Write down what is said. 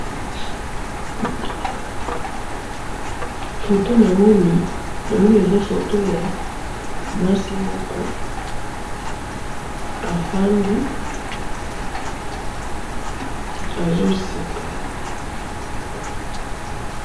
photo namoni naoni eza photo ya mwasimoko afandi azoseka